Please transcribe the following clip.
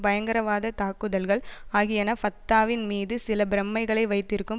பயங்கரவாத தாக்குதல்கள் ஆகியன ஃபத்தாவின் மீது சில பிரமைகளை வைத்திருக்கும்